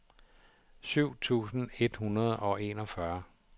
syv tusind et hundrede og enogfyrre